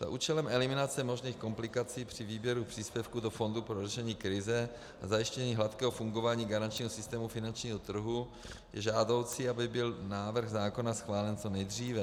Za účelem eliminace možných komplikací při výběru příspěvku do fondu pro řešení krize a zajištění hladkého fungování garančního systému finančního trhu je žádoucí, aby byl návrh zákona schválen co nejdříve.